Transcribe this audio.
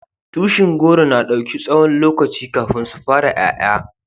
Tushin goro na dauki tsawon lokaci kafin su fara yaya.